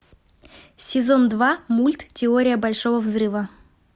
сезон два мульт теория большого взрыва